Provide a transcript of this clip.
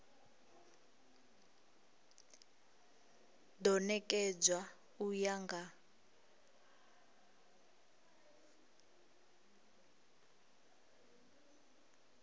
do nekedzwa u ya nga